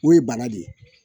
O ye bara de ye